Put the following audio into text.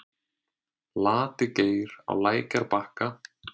Lati-Geir á lækjarbakka